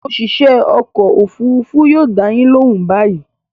Òṣìṣẹ́ ọkọ̀-òfurufú yóò dá yín lóhùn báyìí.